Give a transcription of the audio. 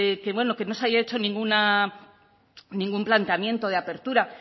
que bueno que no se haya hecho ningún planteamiento de apertura